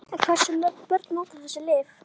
En hversu mörg börn nota þessi lyf?